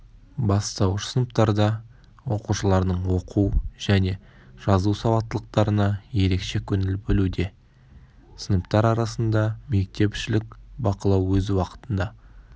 бастауыш сыныптарда оқушылардың оқу және жазу сауаттылқтарына ерекше көңіл бөлуде сыныптар арасында мектепшілік бақылау өз уақытында